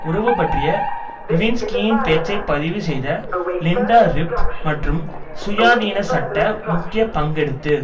உறவு பற்றிய லிவின்ஸ்கியின் பேச்சை பதிவு செய்த லின்டா றிப் மற்றும் சுயாதீன சட்ட முக்கிய பங்கெடுத்து